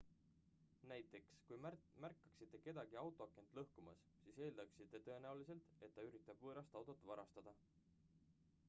näiteks kui märkaksite kedagi autoakent lõhkumas siis eeldaksite tõenäoliselt et ta üritab võõrast autot varastada